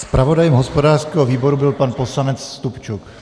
Zpravodajem hospodářského výboru byl pan poslanec Stupčuk.